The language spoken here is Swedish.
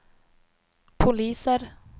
poliser